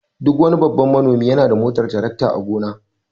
Duk wani babban manomi yana da motar tarakta a gona.